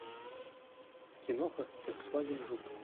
киноха фольксваген жук